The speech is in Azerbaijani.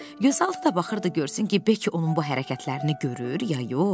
Gözaltı da baxırdı görsün ki, bəlkə onun bu hərəkətlərini görür ya yox.